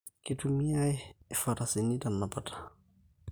Kitumia ifarasani tenapata